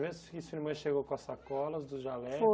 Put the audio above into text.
que sua irmã chegou com as sacolas dos jalecos.